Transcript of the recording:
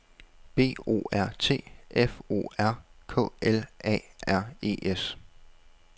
B O R T F O R K L A R E S